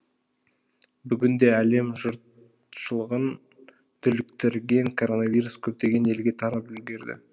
бүгінде әлем жұртшылығын дүрліктірген коронавирус көптеген елге тарап үлгерді